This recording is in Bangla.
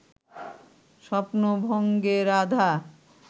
স্বপ্ন-ভঙ্গে রাধা